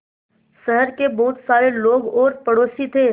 शहर के बहुत सारे लोग और पड़ोसी थे